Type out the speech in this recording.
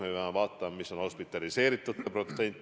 Me peame vaatama, milline on hospitaliseeritute protsent.